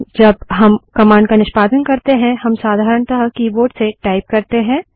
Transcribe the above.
जब हम कमांड का निष्पादन करते हैं हम साधारणतः कीबोर्ड से टाइप करते हैं